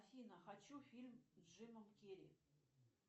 афина хочу фильм с джимом керри